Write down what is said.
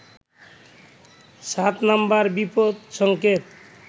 সাত নম্বর বিপদ সংকেত